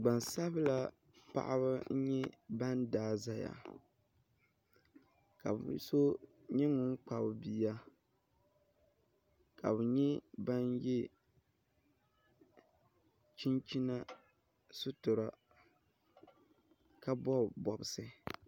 gban'sabila paɣaba n-ban daai zeya ka bɛ so nyɛ ŋun kpabi bia ka bɛ nyɛ ban ye chinchina sutura ka bɔbi bɔbisi